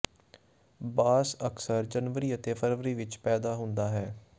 ਬਾਸ ਅਕਸਰ ਜਨਵਰੀ ਅਤੇ ਫਰਵਰੀ ਵਿਚ ਪੈਦਾ ਹੁੰਦਾ ਹੈ